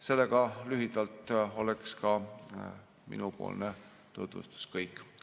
See oleks lühikeseks tutvustuseks kõik.